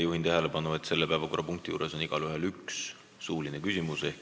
Juhin tähelepanu, et selle päevakorrapunkti arutelul on igaühel võimalik esitada üks suuline küsimus.